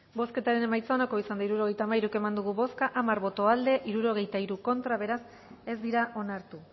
bozketaren emaitza onako izan da hirurogeita hamairu eman dugu bozka hamar boto aldekoa sesenta y tres contra beraz ez dira onartu